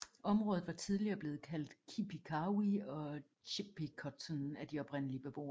Området var tidligere blevet kaldt Kipi Kawi og Chippecotton af de oprindelige beboere